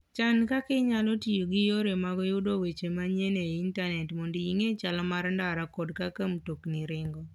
Chan kaka inyalo tiyo gi yore mag yudo weche manyien e intanet mondo ing'e chal mar ndara kod kaka mtokni ringo.